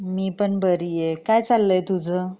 मी पण बरिये काय चाललय तुझं?